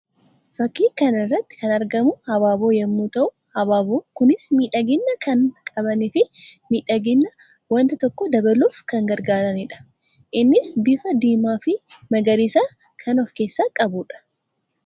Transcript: Fakkii kana irratti kan argamu abaaboo yammuu ta'u; abaaboon kunis miidhagina kan qabanii fi miidhagina wanta tokkoo dabaluuf kan gargaaraniidha. Innis bifa Diimaa fi Magariisa kan of keessaa qabuu dha.